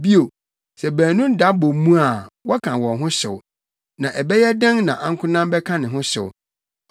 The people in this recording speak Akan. Bio, sɛ baanu da bɔ mu a wɔka wɔn ho hyew. Na ɛbɛyɛ dɛn na ankonam bɛka ne ho hyew?